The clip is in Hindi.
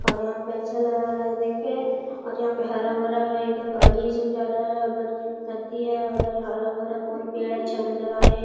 और यहां पे अच्छा लग रहा है देख के और यहां पे हरा-भरा है। इधर गाड़ी सब जा रहा हैं उधर अथी हैं उधर हरा-भरा बोहोत पेड़ अच्छा नज़र आ रहे हैं।